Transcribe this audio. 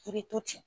I bɛ to ten